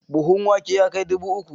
Buhun wake ya kai dubu uku?